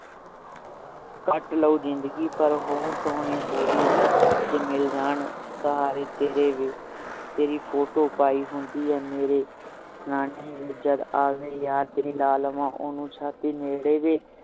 ਕੱਟ ਲਉ ਜ਼ਿੰਦਗੀ ਪਰ ਹੋਰ ਸੋਹਣੀ ਹੋਜੂ ਜੇ ਮਿਲ ਜਾਂ ਸਹਾਰੇ ਤੇਰੇ ਵੇ ਤੇਰੀ photo ਪਾਈ ਹੁੰਦੀ ਹੈ ਮੇਰੇ ਸਰ੍ਹਾਣੇ ਵੇ ਜਦ ਆਵੇ ਯਾਦ ਤੇਰੀ ਲੈ ਲਵਾਂ ਓਹਨੂੰ ਛਾਤੀ ਨੇੜੇ ਵੇ